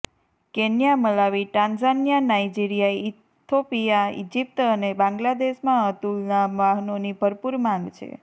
Kenya Malawi Tanzania Nigeria Ethiopia Egypt અને બાંગ્લાદેશમાં અતુલના વાહનોની ભરપૂર માંગ છે